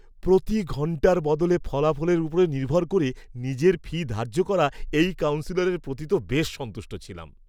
প্রতি ঘণ্টার বদলে ফলাফলের উপরে নির্ভর করে নিজের ফি ধার্য করা এই কাউন্সেলরের প্রতি তো বেশ সন্তুষ্ট ছিলাম।